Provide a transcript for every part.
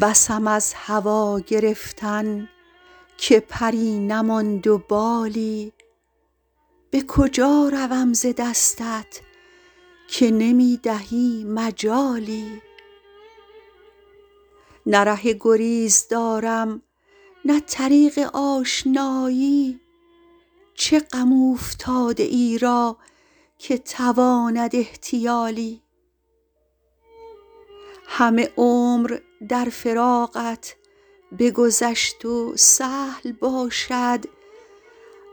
بسم از هوا گرفتن که پری نماند و بالی به کجا روم ز دستت که نمی دهی مجالی نه ره گریز دارم نه طریق آشنایی چه غم اوفتاده ای را که تواند احتیالی همه عمر در فراقت بگذشت و سهل باشد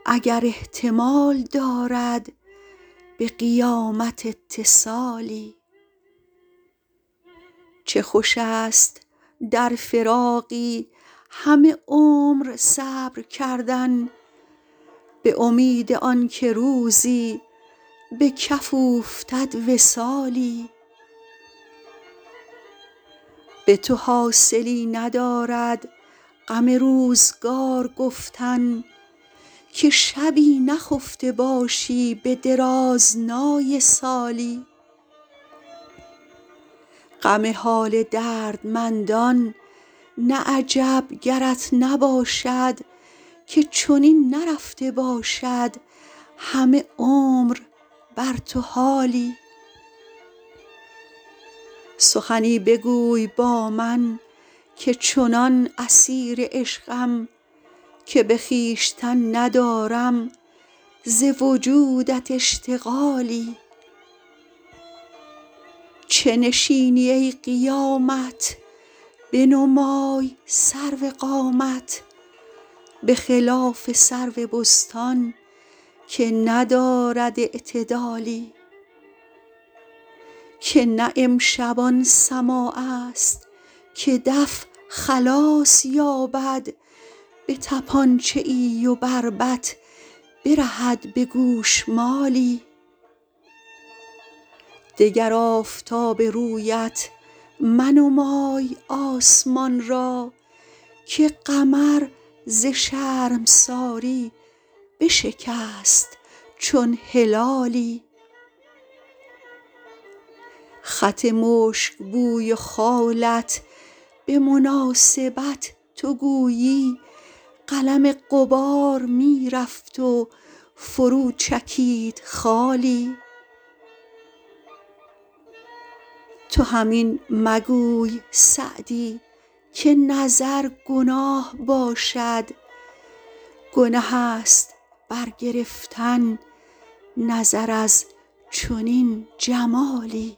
اگر احتمال دارد به قیامت اتصالی چه خوش است در فراقی همه عمر صبر کردن به امید آن که روزی به کف اوفتد وصالی به تو حاصلی ندارد غم روزگار گفتن که شبی نخفته باشی به درازنای سالی غم حال دردمندان نه عجب گرت نباشد که چنین نرفته باشد همه عمر بر تو حالی سخنی بگوی با من که چنان اسیر عشقم که به خویشتن ندارم ز وجودت اشتغالی چه نشینی ای قیامت بنمای سرو قامت به خلاف سرو بستان که ندارد اعتدالی که نه امشب آن سماع است که دف خلاص یابد به طپانچه ای و بربط برهد به گوشمالی دگر آفتاب رویت منمای آسمان را که قمر ز شرمساری بشکست چون هلالی خط مشک بوی و خالت به مناسبت تو گویی قلم غبار می رفت و فرو چکید خالی تو هم این مگوی سعدی که نظر گناه باشد گنه است برگرفتن نظر از چنین جمالی